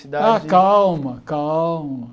Ah calma, calma.